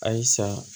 Ayi sa